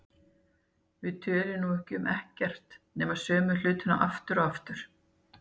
Við tölum nú um ekkert nema sömu hlutina aftur og aftur.